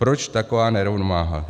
Proč taková nerovnováha?